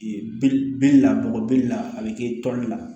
Ee belebele la bɔgɔ bele la a be kɛ toli la